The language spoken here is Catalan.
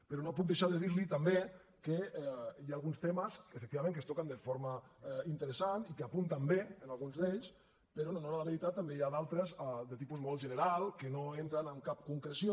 però no puc deixar de dir li també que hi ha alguns temes efectivament que es toquen de forma interessant i que apunten bé alguns d’ells però en honor a la veritat també n’hi ha d’altres de tipus molt general que no entren en cap concreció